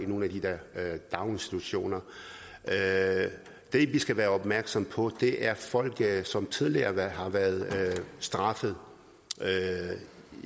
i nogle af de der daginstitutioner det vi skal være opmærksomme på er folk som tidligere har været straffet